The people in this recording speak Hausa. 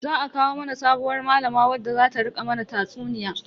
Za a kawo mana sabuwar malama wadda zata rika mana tatsuniya.